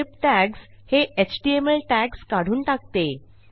strip tags हे HTML tags काढून टाकते